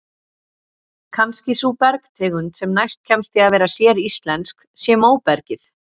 Kannski sú bergtegund sem næst kemst því að vera séríslensk sé móbergið.